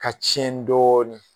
Ka tiɲɛ dɔɔnin